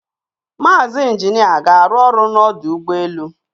Mazi Injina ga aru olu n' Odu Ugbe elu